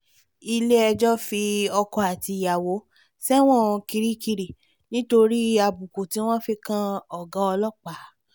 ilé-ẹjọ́ fi ọkọ àti ìyàwó sẹ́wọ̀n kirikiri nítorí àbùkù tí wọ́n fi kan ọ̀gá ọlọ́pàá